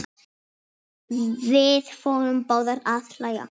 Við förum báðar að hlæja.